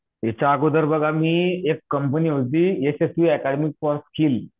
याच्याअगोदर बघा मी एक कंपनी होती यशस्वी एकेडमी फॉर स्किल